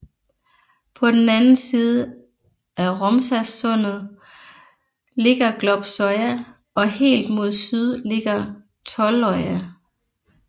På den anden side af Romsasundet ligger Glopsøya og helt mod syd ligger Tolløya